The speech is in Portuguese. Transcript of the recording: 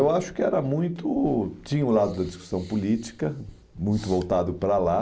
Eu acho que era muito... Tinha o lado da discussão política, muito voltado para lá.